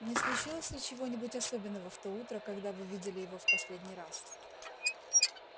не случилось ли чего-нибудь особенного в то утро когда вы видели его в последний раз